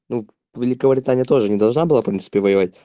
ну великобритания тоже не должна была в принципе воевать